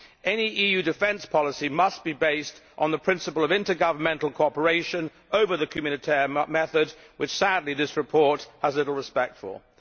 Any EU defence policy must be based on the principle of intergovernmental cooperation over the communautaire method which, sadly, this report has little respect for.